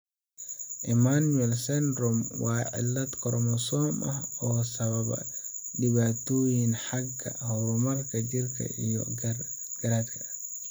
Emanuel syndrome waa cillad koromosoom ah oo sababa dhibaatooyin xagga horumarka jirka iyo garaadka.